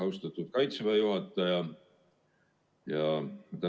Austatud Kaitseväe juhataja!